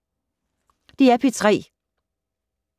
DR P3